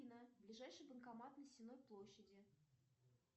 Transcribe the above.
афина ближайший банкомат на сенной площади